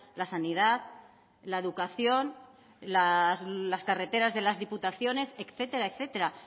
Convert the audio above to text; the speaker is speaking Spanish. la sanidad la educación las carreteras de las diputaciones etcétera etcétera